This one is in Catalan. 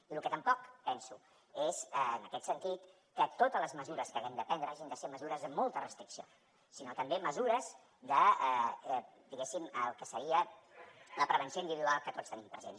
i lo que tampoc penso és en aquest sentit que totes les mesures que haguem de prendre hagin de ser mesures de molta restricció sinó també mesures de diguéssim el que seria la prevenció individual que tots tenim presents